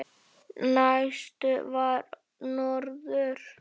Næstur var norður.